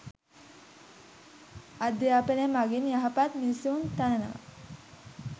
අධ්‍යාපනය මගින් යහපත් මිනිසුන් තනනවා